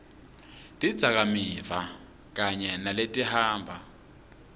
tidzakamiva kanye naletihamba